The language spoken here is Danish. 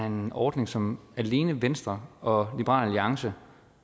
en ordning som alene venstre og liberal alliance